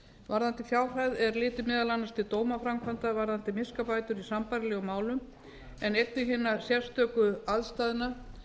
varðandi fjárhæð er litið meðal annars til dómaframkvæmdar varðandi miskabætur í sambærilegum málum en einnig hinnar sérstöku aðstæðna